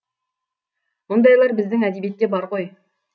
мұндайлар біздің әдебиетте бар ғой